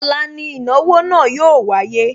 Ọ̀la ni ìnáwó náà yóò wáyé